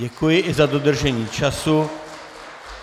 Děkuji i za dodržení času.